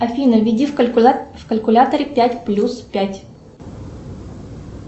афина введи в калькуляторе пять плюс пять